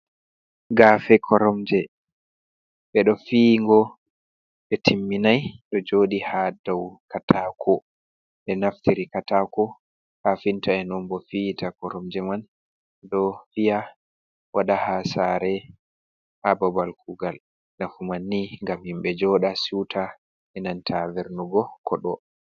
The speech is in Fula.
Gafe koromje: Ɓeɗo fiyi'ngo ɓe timminai ɗo joɗi ha dou katako. ɓe naftiri katako kafinta en on bo fiyita koromje man. Ɗo fiya wada ha sare, ha babal kugal. nafu man ni ngam himɓe joɗa siuta e'nanta vernugo koɗo.